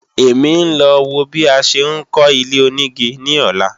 Èmi ń lọ wo bí a ṣe ń kọ́ ilé-onígi ní ọ̀la